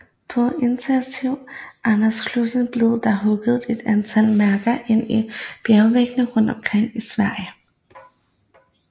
På initiativ af Anders Celsius blev der hugget et antal mærker ind i bjergvægge rundt omkring i Sverige